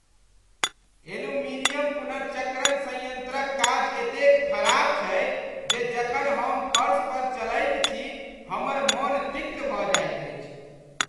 Aluminium पुनर्चक्रण संयंत्रक काज एतेक खराप छै जे जखन हम फर्श पर चलैत छी हमर मन तित्त भऽ जाइत अछि।